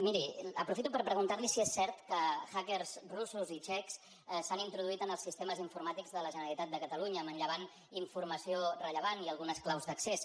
miri aprofito per preguntar li si és cert que hackersrussos i txecs s’han introduït en els sistemes informàtics de la generalitat de catalunya i han manllevat informació rellevant i algunes claus d’accés